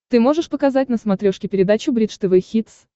ты можешь показать на смотрешке передачу бридж тв хитс